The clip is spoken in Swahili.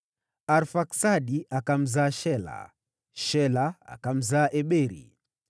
Arfaksadi akamzaa Shela, Shela akamzaa Eberi.